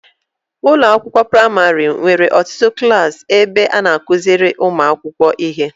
Ụlọakwụkwọ praịmarị nwere ọtụtụ klaasị ebe a na-akụziri ụmụaka ihe.